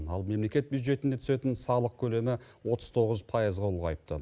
ал мемлекет бюджетіне түсетін салық көлемі отыз тоғыз пайызға ұлғайыпты